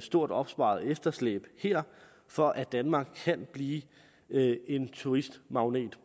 stort opsparet efterslæb her for at danmark kan blive en turistmagnet